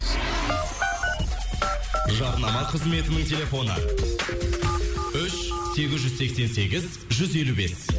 жарнама қызметінің телефоны үш сегіз жүз сексен сегіз жүз елу бес